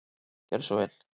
Gjörðu svo vel.